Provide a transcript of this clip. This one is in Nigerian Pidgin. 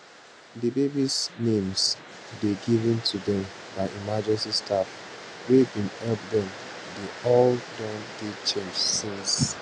di babies names dey given to dem by emergency staff wey bin help dem dey all don dey changed since